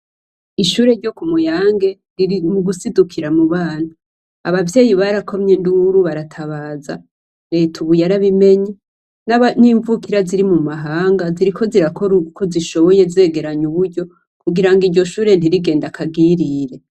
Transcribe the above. Ishure ryo ku Muyange riri mugusidukira kubana. Abavyeyi barakomye induru baratabaza reta ubu yarabimenye nimvukira ziri mumahanga ziriko zirakora uko zishoboye kugira iryo shure ntirigenda akagirire.